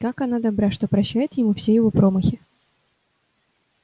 как она добра что прощает ему все его промахи